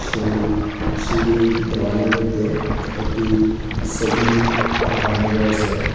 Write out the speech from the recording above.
এই সিঁড়ির দেওয়ালের মইদ্যে একটি সোবি লাগানো রয়েসে।